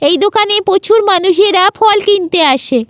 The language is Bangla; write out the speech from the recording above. এই দোকানে প্রচুর মানুষেরা ফল কিনতে আসে--